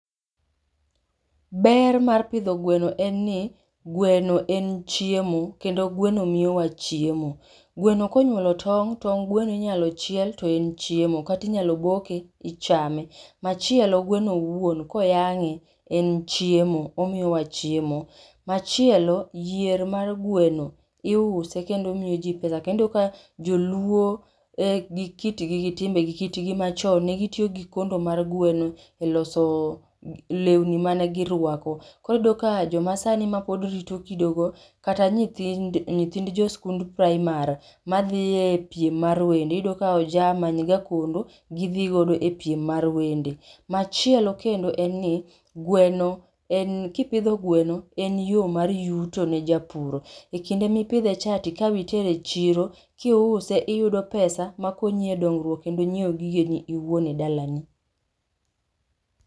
Ber mar pidho gweno en ni gweno en chiemo kendo gweno miyowa chiemo. Gweno konyuolo tong', tong' gweno inyalo chiel toen chiemo kata inyalo boke ichame. Machielo gweno owuon koyang'e en chiemo, omiyowa chiemo. Machielo yier mar gweno iuse kendo miyo ji pesa, iyudo ka joluo e kitgi gi timbe e kitgi machon ne gitiyo gi kondo mar gweno e loso lewni mane girwako. Koro iyudo ka jii masani mapod rito kido go kata nyithind jo skund primar madhie piem mar wende, iyudo ka oja manyga kondo gidhi godo e piem mar wende. Machielo kendoen ni gweno en ni, kipidho gweno en yoo mar yuto ne japur, ekinde mipidhe cha tika itere e chiro, kiuse iyudo pesa makonyi e dongruok kendonyiew ggeni owuon e dalani